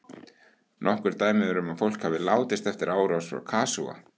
Nokkur dæmi eru um að fólk hafi látist eftir árás frá kasúa.